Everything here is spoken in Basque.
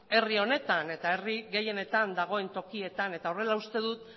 herri honetan eta herri gehienetan dagoen tokietan eta horrela uste dut